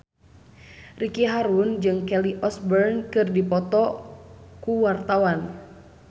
Ricky Harun jeung Kelly Osbourne keur dipoto ku wartawan